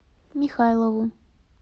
михайлову